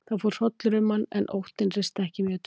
Það fór hrollur um hann, en óttinn risti ekki mjög djúpt.